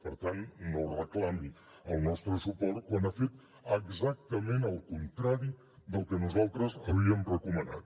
per tant no reclami el nostre suport quan ha fet exactament el contrari del que nosaltres havíem recomanat